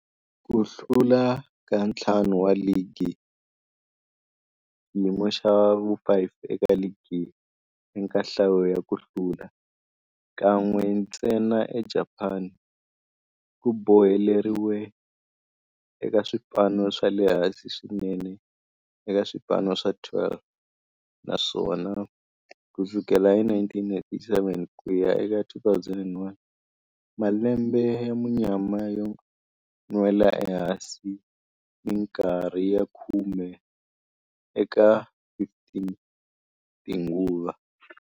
Ku hlula ka ntlhanu wa ligi, xiyimo xa vu-5 eka ligi eka nhlayo ya ku hlula, kan'we ntsena eJapani, ku boheleriwile eka swipano swa le hansi swinene eka swipano swa 12, naswona ku sukela hi 1987 ku ya eka 2001, malembe ya munyama yo nwela ehansi minkarhi ya khume eka 15 tinguva.